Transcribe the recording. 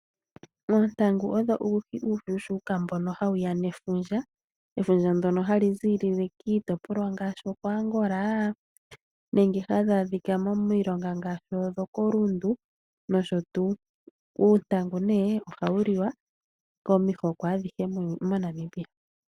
Oontangu owo uuhi uushuuka mbono hawu ya nefundja ,efundja ndono hali ziililele kiitipolwa ngaashi oko Angola ,uuntangu ohawu liwa komihoko adhihe moNamibia.